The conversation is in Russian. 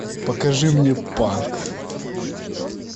покажи мне панк